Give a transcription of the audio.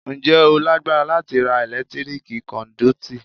Ǹjẹ́ o lágbára láti ra ẹ̀lẹ́tíríkì kọ́ndúítí?